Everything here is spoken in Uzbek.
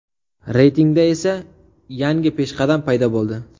Reytingda esa yangi peshqadam paydo bo‘ldi.